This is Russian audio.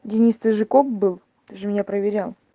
денис ты же коп был ты же меня проверял